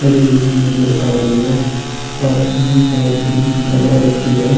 खड़ी हुई नज़र आ रही है और अपनी है ज़ भी लगा रखी है।